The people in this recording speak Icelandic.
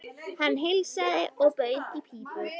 Hann heilsaði og bauð í pípu.